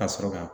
Ka sɔrɔ ka